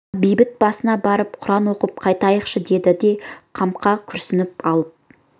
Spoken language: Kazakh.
жұма бейіт басына барып құран оқып қайтайықшы деді де қамқа күрсініп алып